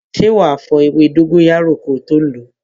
Ṣé wá fo ewé dóngóyárò ko tó lo?